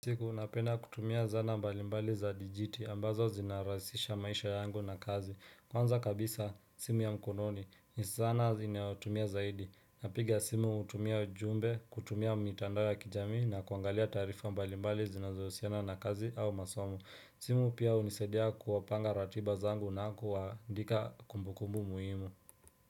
Siku napenda kutumia zana mbali mbali za dijiti ambazo zinarahisisha maisha yangu na kazi Kwanza kabisa simu ya mkononi ni zana ninayotumia zaidi Napiga simu hutumia jumbe, kutumia mitandao ya kijami na kuangalia tarifa mbali mbali zinazosiana na kazi au masomo simu pia unisaidia kupanga ratiba zangu na kuwandika kumbukumbu muhimu.